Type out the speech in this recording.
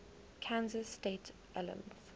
kansas state alums